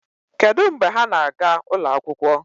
Kedụ mgbe ha na-aga ụlọ akwụkwọ?